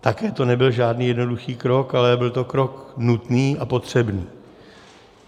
Také to nebyl žádný jednoduchý krok, ale byl to krok nutný a potřebný.